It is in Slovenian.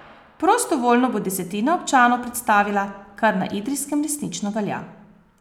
Prostovoljno bo desetina občanov predstavila, kar na Idrijskem resnično velja.